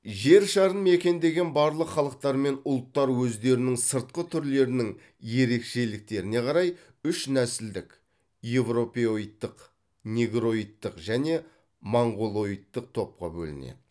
жер шарын мекендеген барлық халықтармен ұлттар өздерінің сыртқы түрлерінің ерекшеліктеріне қарай үш нәсілдік еуропеоидтық негроидтық және монғолоидтық топқа бөлінеді